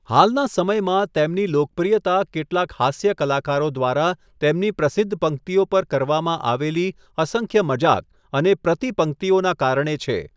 હાલના સમયમાં તેમની લોકપ્રિયતા કેટલાક હાસ્ય કલાકારો દ્વારા તેમની પ્રસિદ્ધ પંક્તિઓ પર કરવામાં આવેલી અસંખ્ય મજાક અને પ્રતિપંક્તિઓના કારણે છે.